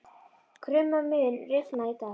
Krumma, mun rigna í dag?